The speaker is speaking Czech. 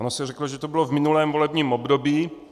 Ono se řeklo, že to bylo v minulém volebním období.